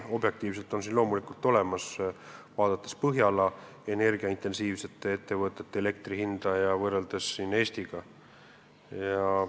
Objektiivselt on siin probleem loomulikult olemas, eriti kui võrrelda Põhjala intensiivse energiakasutusega ettevõtete makstavat elektri hinda Eesti omaga.